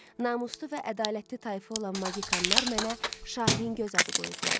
Namuslu və ədalətli tayfa olan Magikanlar mənə Şahin Göz adı qoyublar.